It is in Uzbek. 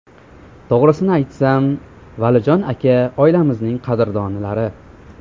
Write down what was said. To‘g‘risini aytsam, Valijon aka oilamizning qadrdonlari.